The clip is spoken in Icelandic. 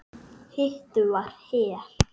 Hitt var Hel.